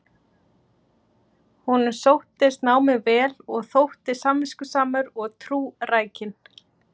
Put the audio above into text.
Honum sóttist námið vel og þótti samviskusamur og trúrækinn.